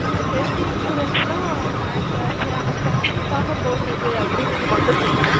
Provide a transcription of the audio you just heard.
Health Insurance னா Family க்காக போடுவது அப்படி என்பது மட்டும் தெரியும்